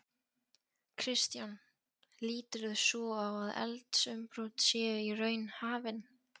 Kristján: Líturðu svo á að eldsumbrot séu í raun hafin?